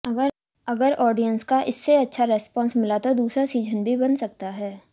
अगर ऑडियंस का इसे अच्छा रिस्पॉन्स मिला तो दूसरा सीजन भी बन सकता है